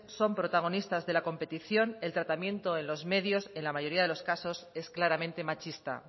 son protagonistas de la competición el tratamiento en los medios en la mayoría de los casos es claramente machista